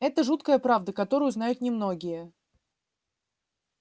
это жуткая правда которую знают немногие